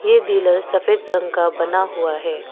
ये डीलर सफेद रंग का बना हुआ है।